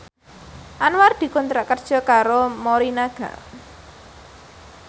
Anwar dikontrak kerja karo Morinaga